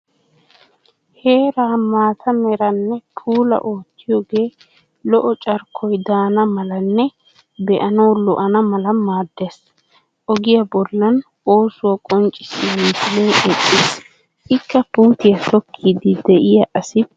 Heeraa maata meranne puula oottiyoogee lo"o carkkoy daana malanne be'anawu lo'ana mala maaddes. Ogiya bollan oosuwa qoncciya misilee eqqis, ikka puutiya tokkiiddi diya asi beettes.